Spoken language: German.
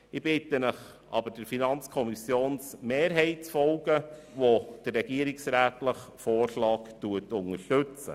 Ich bitte Sie aber, der FiKo-Mehrheit zu folgen, die den regierungsrätlichen Vorschlag unterstützt.